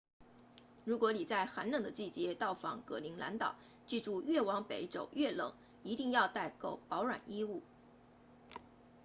如果你在寒冷的季节到访格陵兰岛记住越往北走越冷一定要带够保暖衣物